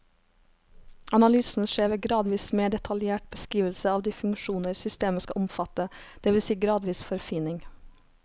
Analysen skjer ved gradvis mer detaljert beskrivelse av de funksjoner systemet skal omfatte, det vil si gradvis forfining.